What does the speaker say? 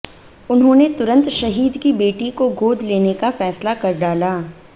उन्होंने तुरंत शहीद की बेटी को गोद लेने का फैसला कर डाला